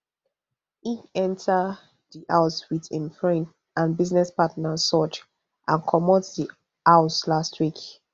e enta di house wit im friend and business partner sooj and comot di house last week